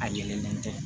A yelennen tɛ